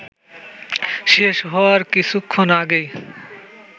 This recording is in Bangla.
শেষ হওয়ার কিছুক্ষণ আগেই